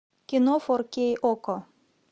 кино фор кей окко